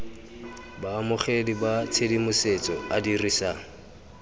baamogedi ba tshedimosetso a dirisa